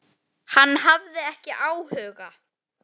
Hann hafði ekki áhuga.